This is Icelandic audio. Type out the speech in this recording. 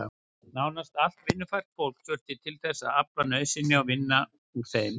Nánast allt vinnufært fólk þurfti til þess að afla nauðsynja og vinna úr þeim.